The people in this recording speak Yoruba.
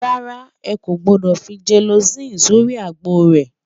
rárá, ẹkọ gbódò fí jeeloci sórí ègbó rè